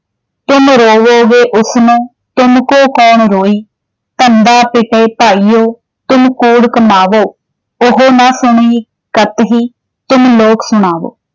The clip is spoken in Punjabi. ਤੁਮ ਰੋਵਹੁਗੇ ਓਸ ਨੋ ਤੁਮ ਕਉ ਕਉਣੁ ਰੋਈ॥ ਧੰਧਾ ਪਿਟਿਹੁ ਭਾਈਹੋ ਤੁਮ ਕੂੜੁ ਕਮਾਵਹੁ। ਓਹੁ ਨ ਸੁਣਈ ਕਤ ਹੀ ਤੁਮ ਲੋਕ ਸੁਣਾਵਹੁ ।